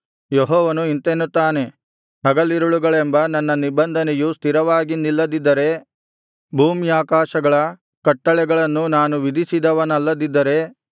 ಯೆಹೋವನು ಇಂತೆನ್ನುತ್ತಾನೆ ಹಗಲಿರುಳೆಂಬ ನನ್ನ ನಿಬಂಧನೆಯು ಸ್ಥಿರವಾಗಿ ನಿಲ್ಲದಿದ್ದರೆ ಭೂಮ್ಯಾಕಾಶಗಳ ಕಟ್ಟಳೆಗಳನ್ನು ನಾನು ವಿಧಿಸಿದವನಲ್ಲದಿದ್ದರೆ